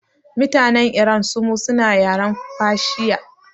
Mutanen iran sumu suna yaren fashiya